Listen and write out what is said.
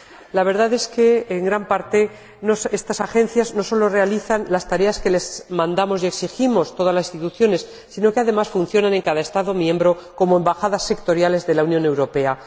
La verdad es que en gran parte estas Agencias no solo realizan las tareas que les mandamos y exigimos todas las instituciones sino que, además, funcionan en cada Estado miembro como embajadas sectoriales de la Unión Europea.